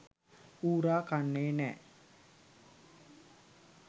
ඌරා කන්නෙ නෑ?